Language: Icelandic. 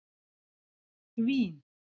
Vín